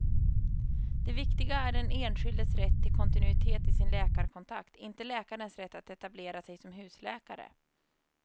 Det viktiga är den enskildes rätt till kontinuitet i sin läkarkontakt, inte läkarens rätt att etablera sig som husläkare.